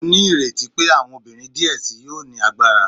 Mo nireti pe awọn obinrin diẹ sii yoo ni agbara